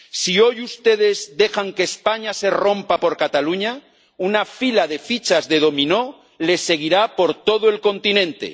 Si hoy ustedes dejan que España se rompa por Cataluña, una fila de fichas de dominó le seguirá por todo el continente.